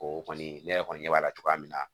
O kɔni ne yɛrɛ kɔni ɲɛ b'a la cogoya min na